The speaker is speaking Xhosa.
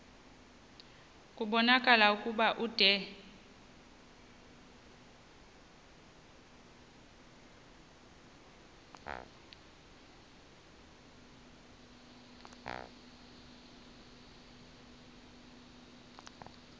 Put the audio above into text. kubonakala ukuba ude